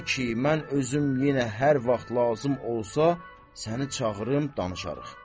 Ta ki mən özüm yenə hər vaxt lazım olsa, səni çağırım, danışarıq.